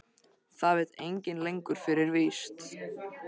Það veit enginn lengur fyrir víst.